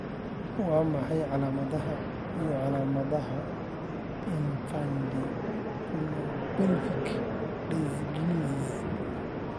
Waa maxay calaamadaha iyo calaamadaha Infundibulopelvic dysgenesis?